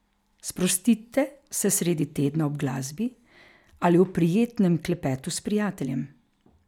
Sprostite se sredi tedna ob glasbi ali ob prijetnem klepetu s prijateljem.